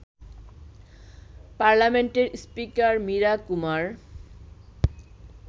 পার্লামেন্টের স্পিকার মীরা কুমার